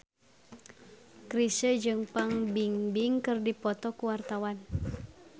Chrisye jeung Fan Bingbing keur dipoto ku wartawan